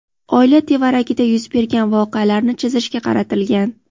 oila tevaragida yuz bergan voqealarni chizishga qaratilgan.